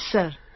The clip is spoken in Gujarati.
yes sir